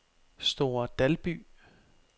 Store Dalby